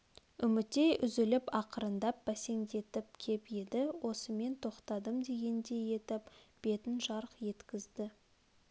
үмітей үзіліп ақырындап бәсеңдетіп кеп енді осымен тоқтадым дегендей етіп бетін жарқ еткзді